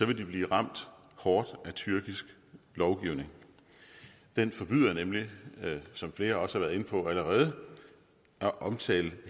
vil de blive ramt hårdt af tyrkisk lovgivning den forbyder nemlig som flere også har været inde på allerede at omtale